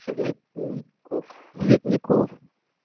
цветников цветников